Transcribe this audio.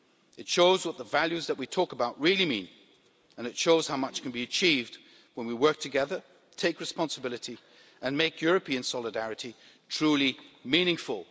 It shows what the values that we talk about really mean, and it shows how much can be achieved when we work together, take responsibility and make European solidarity truly meaningful.